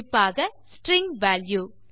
குறிப்பாக string value